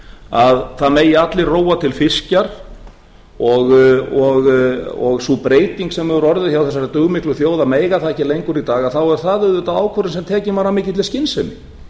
að það megi allir róa til fiskjar og sú breyting sem hefur orðið hjá þessari dugmiklu þjóð að mega það ekki lengur í dag þá er það auðvitað ákvörðun sem tekin var af mikilli skynsemi fiskstofnarnir